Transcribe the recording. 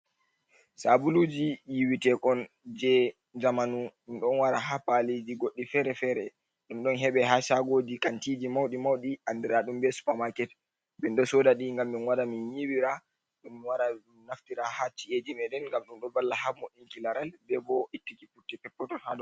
Sabuluji yiwitekon je zamanu ɗum ɗon wara ha paliji goddi fere-fere, ɗum ɗon heɓe ha shagoji kantiji mauɗi mauɗi andira ɗum be super maket, min ɗo soda ɗi ngam min wara min yiwira, min wara min naftira ha chi’eji meɗen ngam ɗum ɗon balla ha boinki laral be bo ittu ki putte pep peton.